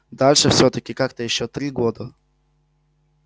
дальше всё-таки как-то ещё три года